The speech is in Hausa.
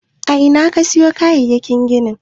A ina ka siyo kayayyakin ginin?